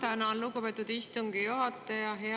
Ma tänan, lugupeetud istungi juhataja!